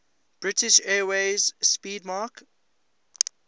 british airways 'speedmarque